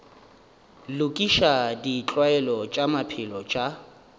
lokiša ditlwaelo tša maphelo tša